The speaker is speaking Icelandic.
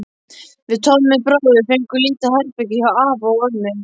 Við Tommi bróðir fengum lítið herbergi hjá afa og ömmu.